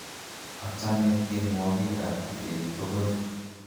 achame tienwokik ab kibet tokol